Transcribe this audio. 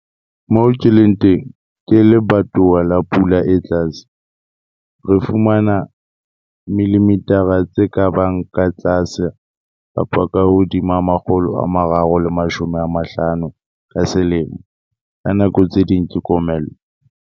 Moo ke leng teng ke lebatowa la pula e tlase, re fumana ±350 mm ka selemo. Ka nako tse ding ke komello.